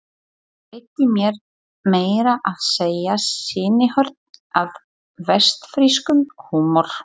Veitti mér meira að segja sýnishorn af vestfirskum húmor.